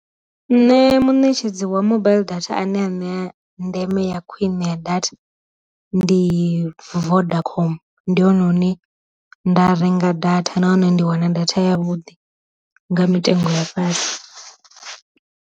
Nṋe mu netshedzi wa mobaiḽi data ane a ṋea ndeme ya khwine ya data, ndi vodacom, ndi hone hune nda renga data na hone ndi wana data ya vhuḓi nga mitengo ya fhasi.